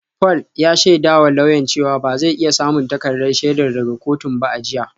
Paul ya shaidawa lauyan cewa ba zai iya samun takardar shaidar daga kotun ba a jiya